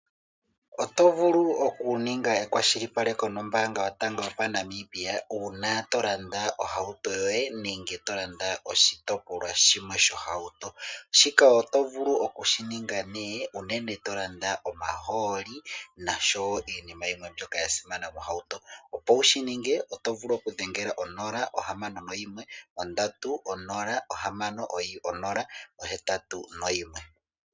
Oto vulu okuninga ekwashilipaleko nOmbaanga Yotango yoPashigwana yomoNamibia uuna to landa ohauto yoye nenge to landa oshitopolwa shimwe shohauto. Shika oto vulu okushi ninga nduno unene uuna to landa omaholi nenge iinima yimwe yasimana mohauto. Opo wu shi ninge oto vulu okudhengela 061 306081.